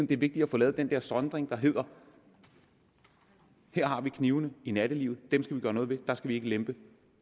det er vigtigt at få lavet den der sondring der hedder her har vi knivene i nattelivet og dem skal vi gøre noget ved og der skal vi ikke lempe